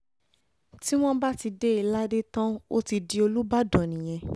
tí wọ́n bá ti dé e ládé tán ó ti di olùbàdàn nìyẹn